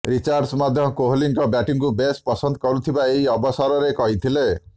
Richards ମଧ୍ୟ କୋହଲିଙ୍କ ବ୍ୟାଟିଂକୁ ବେଶ୍ ପସନ୍ଦ କରୁଥିବା ଏହି ଅବସରରେ କହିଥିଲେ